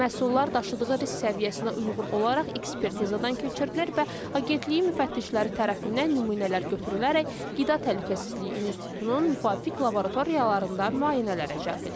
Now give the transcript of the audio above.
Məhsullar daşıdığı risk səviyyəsinə uyğun olaraq ekspertizadan keçirilir və agentliyin müfəttişləri tərəfindən nümunələr götürülərək qida təhlükəsizliyi institutunun müvafiq laboratoriyalarında müayinələrə cəlb edilir.